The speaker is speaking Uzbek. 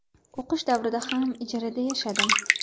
O‘qish davrida ham ijarada yashadim.